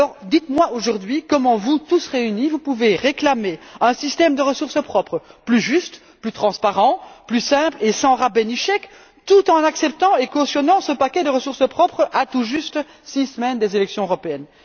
Dites moi comment, aujourd'hui, vous tous réunis, vous pouvez réclamer un système de ressources propres plus juste, plus transparent, plus simple et sans rabais ni chèque, tout en respectant et cautionnant ce paquet de ressources propres, tout juste à six semaines des élections européennes.